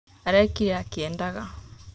Arekire akiendaga